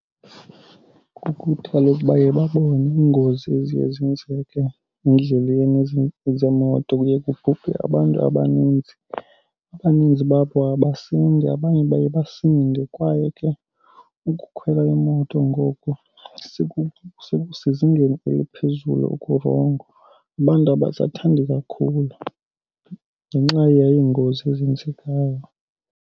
Kukuthi kaloku baye babone iingozi eziye zenzeke endleleni zeemoto. Kuye kubhubhe abantu abaninzi. Abaninzi babo abasindi, abanye baye basinde. Kwaye ke ukukhwela imoto ngoku sekusezingeni eliphezulu ukurongo. Abantu abasathandi kakhulu ngenxa yeengozi ezenzekayo.